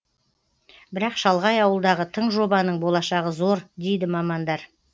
бірақ шалғай ауылдағы тың жобаның болашағы зор дейді мамандар